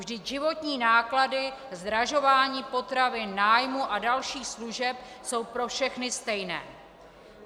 Vždyť životní náklady, zdražování potravin, nájmu a dalších služeb jsou pro všechny stejné.